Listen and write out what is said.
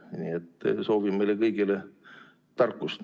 Nii et soovin meile kõigile tarkust.